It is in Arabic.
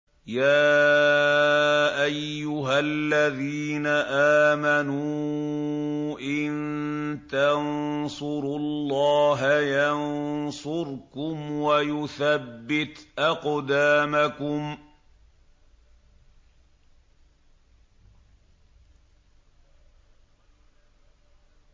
يَا أَيُّهَا الَّذِينَ آمَنُوا إِن تَنصُرُوا اللَّهَ يَنصُرْكُمْ وَيُثَبِّتْ أَقْدَامَكُمْ